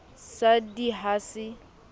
sa d i ha se